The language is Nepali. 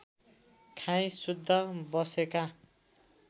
खाई शुद्ध बसेका